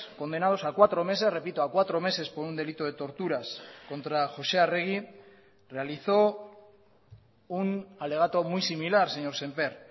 condenados a cuatro meses repito a cuatro meses por un delito de torturas contra josé arregui realizó un alegato muy similar señor sémper